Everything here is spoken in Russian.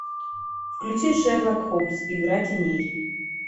включи шерлок холмс игра теней